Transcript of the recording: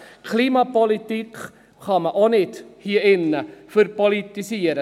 Auch die Klimapolitik kann man hier drin nicht «verpolitisieren».